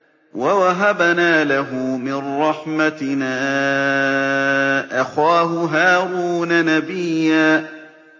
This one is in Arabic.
وَوَهَبْنَا لَهُ مِن رَّحْمَتِنَا أَخَاهُ هَارُونَ نَبِيًّا